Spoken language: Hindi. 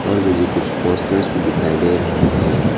और मुझे कुछ पोस्टर्स भी दिखाई दे रहा है।